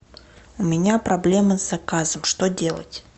у меня проблема с заказом что делать